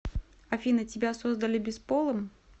афина тебя создали бесполым